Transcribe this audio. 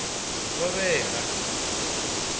ngovhela